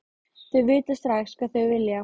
Þau vita strax hvað þau vilja.